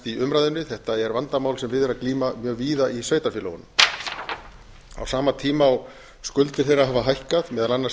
í umræðunni þetta er vandamál sem við er að glíma mjög víða í sveitarfélögunum á sama tíma og skuldir þeirra hafa hækkað meðal annars